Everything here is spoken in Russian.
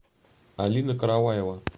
алина караваева